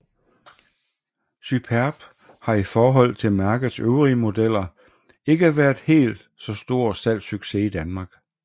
Superb har i forhold til mærkets øvrige modeller ikke været en helt så stor salgssucces i Danmark